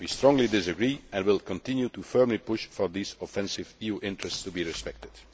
We strongly disagree and will continue to firmly push for these offensive EU interests to be respected.